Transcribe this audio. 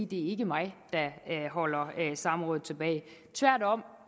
det ikke er mig der holder samrådet tilbage tværtom